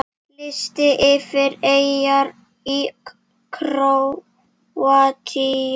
Listi yfir eyjar í Króatíu